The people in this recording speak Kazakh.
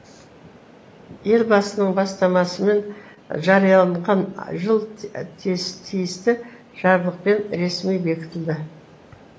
елбасының бастамасымен жарияланған жыл тиісті жарлықпен ресми бекітілді